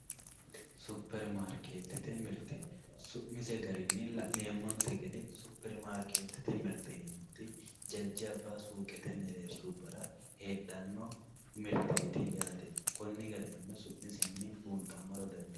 Super maariketete mirite, su'mise garini la'neemonte gede super mirte yineemoyi jajaba suuqrtte mereerishirra heedhano mirteti yaate koni garinino su'misenni buunxamora dandinemo.